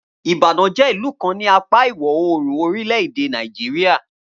Ibadan jé ìlú kan ni apáa ìwọ̀ oòrùn orílẹ̀-èdè Nàìjíríà